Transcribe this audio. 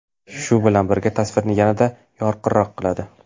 Shu bilan birga, tasvirni yanada yorqinroq qiladi.